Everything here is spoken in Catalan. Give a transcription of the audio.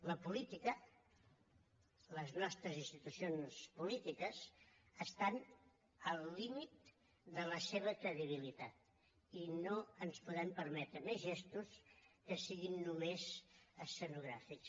la política les nostres institucions polítiques estan al límit de la seva credibilitat i no ens podem permetre més gestos que siguin només escenogràfics